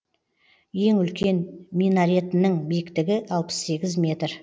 ең үлкен минаретінің биіктігі алпыс сегіз метр